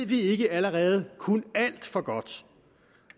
vi allerede kun alt for godt